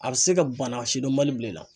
A bɛ se ka bana sidɔnbali bila i la.